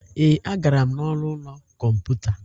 Ee, agara m n'ọnụ ụlọ kọmputa.